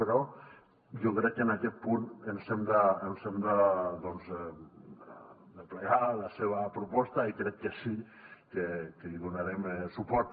però jo crec que en aquest punt ens hem de plegar a la seva proposta i crec que sí que hi donarem suport